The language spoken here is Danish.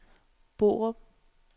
Borup